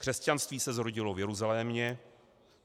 Křesťanství se zrodilo v Jeruzalémě.